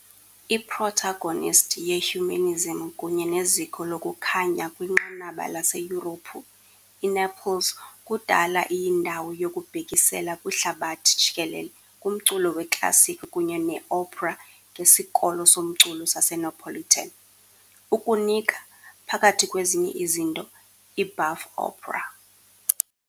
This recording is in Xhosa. I-Protagonist ye -humanism kunye neziko lokuKhanya kwinqanaba laseYurophu, iNaples kudala iyindawo yokubhekisela kwihlabathi jikelele kumculo weklasikhi kunye ne- opera ngesikolo somculo saseNapolitan, ukunika, phakathi kwezinye izinto, i- buff opera .